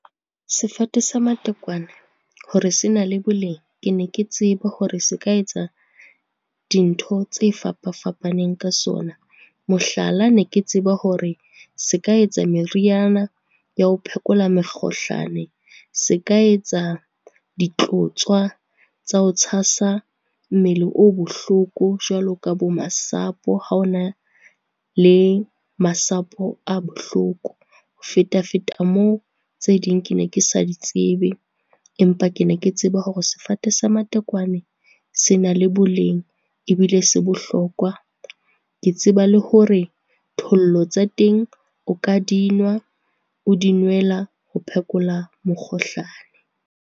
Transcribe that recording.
Sefate sa matekwane hore se na le boleng, ke ne ke tseba hore se ka etsa dintho tse fapa-fapaneng ka sona. Mohlala, ne ke tseba hore se ka etsa meriana ya ho phekola mekgohlane, se ka etsa ditlotswa tsa ho tshasa mmele o bohloko jwalo ka bo masapo, ha ona le masapo a bohloko. Ho feta-feta moo, tse ding ke ne ke sa di tsebe, empa ke ne ke tseba hore sefate sa matekwane se na le boleng ebile se bohlokwa. Ke tseba le hore thollo tsa teng o ka dinwa, o di nwela ho phekola mekgohlane.